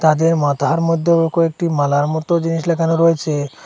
তাদের মাথার মধ্যেও কয়েকটি মালার মত জিনিস লাগানো রয়েছে।